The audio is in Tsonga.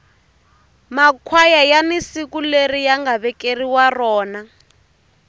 makhwaya yani siku leri yanga vekeriwa rona